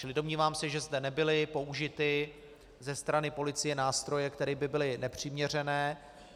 Čili domnívám se, že zde nebyly použity ze strany policie nástroje, které by byly nepřiměřené.